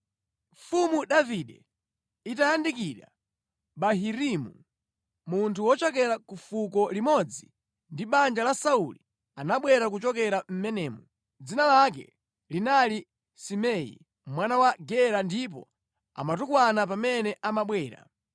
Mfumu Davide itayandikira Bahurimu, munthu wochokera ku fuko limodzi ndi banja la Sauli anabwera kuchokera mʼmenemo. Dzina lake linali Simei, mwana wa Gera ndipo amatukwana pamene amabwera.